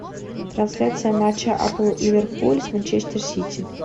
трансляция матча апл ливерпуль с манчестер сити